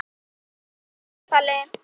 Takk Palli.